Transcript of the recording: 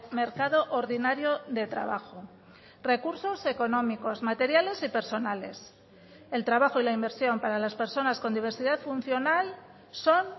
mercado ordinario de trabajo recursos económicos materiales y personales el trabajo y la inversión para las personas con diversidad funcional son